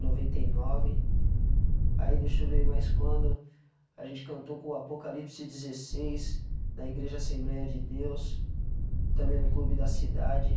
noventa e nove. Aí deixa eu ver mais quando a gente cantou com o Apocalipse dezesseis, na Igreja Assembleia de Deus, também no Clube da Cidade.